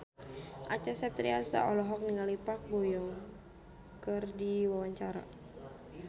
Acha Septriasa olohok ningali Park Bo Yung keur diwawancara